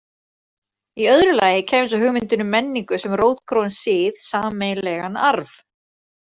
Í öðru lagi kæmi svo hugmyndin um menningu sem rótgróinn sið, sameiginlegan arf.